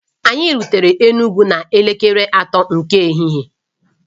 Anyị rutere Enugwu n'elekere atọ nke ehihie